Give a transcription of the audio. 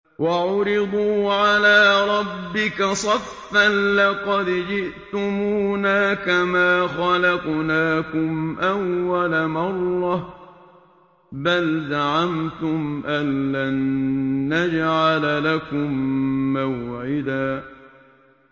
وَعُرِضُوا عَلَىٰ رَبِّكَ صَفًّا لَّقَدْ جِئْتُمُونَا كَمَا خَلَقْنَاكُمْ أَوَّلَ مَرَّةٍ ۚ بَلْ زَعَمْتُمْ أَلَّن نَّجْعَلَ لَكُم مَّوْعِدًا